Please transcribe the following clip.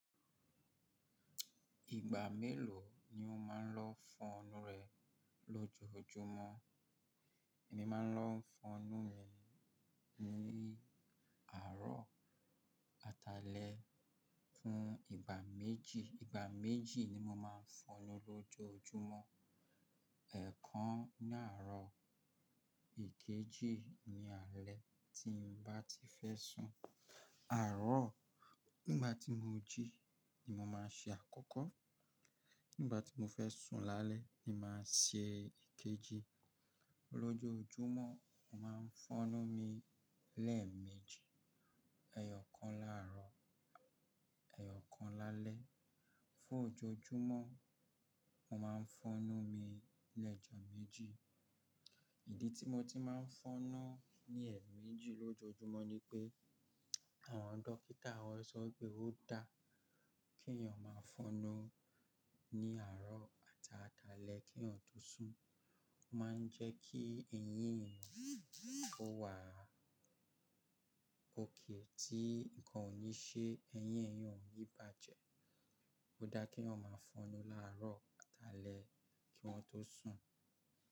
Ìgbà mélòó ni o máa ń lọ fọonú rẹ lójoójúmọ́? Èmi máa ń lọ fọnú mi ní àárọ̀ àtàlẹ̀ fún ìgbà méjì. Ìgbà méjì ni mo máa ń fọnú lójojúmọ́. Ẹ̀ kan ní àárọ̀ èkejì ni alẹ́ tí mo bá ti fẹ́ sùn. Àárọ̀ nígbà tí mo jí ni mo máa ń ṣe àkọ́kọ́. Nígbà tí mo fẹ́ sùn lálẹ́ ni màá ṣe èkejì. Lójojúmọ́ mo máa ń fọnú mi lẹ́ẹ̀mejì. Ẹ̀ẹ̀yọ̀ kan láàárọ̀, ẹ̀ẹ̀yọ̀ kan lálẹ́. Fún ojoojúmọ́ mo máa ń fọnú mi lẹ́ẹ̀jọ̀ méjì. Ìdí tí mo ti máa ń fọnú ní ẹ̀ẹ̀mejì lójojúmọ́ ni pé àwọn dókítà wọ́n sọ pé ó dáa kí ènìyàn máa ń fọnú ní àárọ̀ àtàlẹ́ kí eyan tó sùn. Ó ma ń jẹ́ kí eyín èyan kó wà ókay tí nǹkan ò ní ṣe ẹyín èyan o ní bàjẹ́. Ó dáa kí ènìyàn máa ń fọnú láàárọ̀ àtàlẹ́ kí wọ́n tó sùn.